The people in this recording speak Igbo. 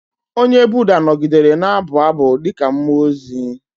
Onye Buda nọgidere na-abụ abụ dị ka mmụọ ozi.